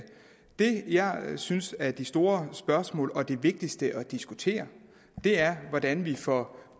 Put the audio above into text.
det jeg synes er det store spørgsmål og det vigtigste at diskutere er hvordan vi får